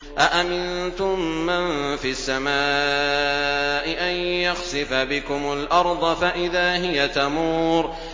أَأَمِنتُم مَّن فِي السَّمَاءِ أَن يَخْسِفَ بِكُمُ الْأَرْضَ فَإِذَا هِيَ تَمُورُ